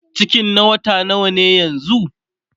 cikin na wata nawa yanzun?